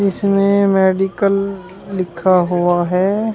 जिसमें मेडिकल लिखा हुआ है।